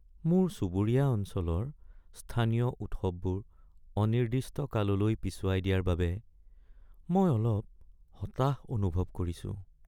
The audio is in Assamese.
মোৰ চুবুৰীয়া অঞ্চলৰ স্থানীয় উৎসৱবোৰ অনিৰ্দিষ্ট কাললৈ পিছুৱাই দিয়াৰ বাবে মই অলপ হতাশ অনুভৱ কৰিছোঁ।